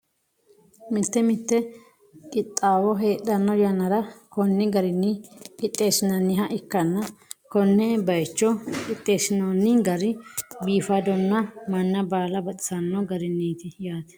mite mite qixxaawo heedhanno yannara konni garinni qixxeessinanniha ikkanna konne bayiicho qixxeessinoonni gari biifadonna manna baala baxisanno garinniti yaate .